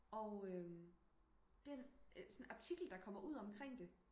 og øhm den sådan artikel der kommer ud omkring det